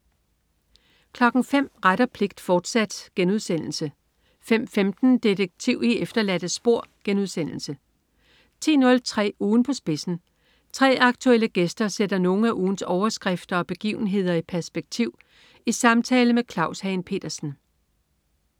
05.00 Ret og pligt, fortsat* 05.15 Detektiv i efterladte spor* 10.03 Ugen på spidsen. 3 aktuelle gæster sætter nogle af ugens overskrifter og begivenhederi perspektiv i samtale med Claus Hagen Petersen